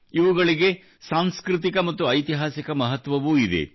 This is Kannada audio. ಇವುಗಳಿಗೆ ಸಾಂಸ್ಕೃತಿಕ ಮತ್ತು ಐತಿಹಾಸಿಕ ಮಹತ್ವವೂ ಇದೆ